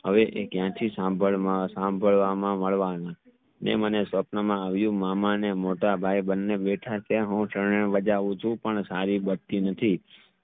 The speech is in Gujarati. હવે એ ક્યાં થી સંબડવામાં મદવાનું જે મને સપના માં આવ્યું મામા ને મોટા ભાઈ બંને બેઠા ત્યાં હું શરણાઈ બજાવ છું પણ સારી બજતી નથી